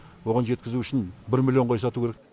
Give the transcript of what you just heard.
оған жеткізу үшін бір миллион қой сату керек